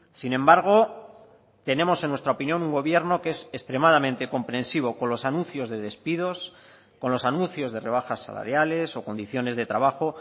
sin embargo tenemos en nuestra opinión un gobierno que es extremadamente comprensivo con los anuncios de despidos con los anuncios de rebajas salariales o condiciones de trabajo